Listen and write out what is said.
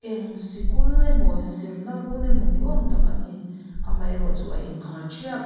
eng sikul emaw zirna run emaw ni awm tak a ni amah erawh chu a inkhar thiap--